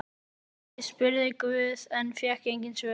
Ég spurði guð en fékk engin svör.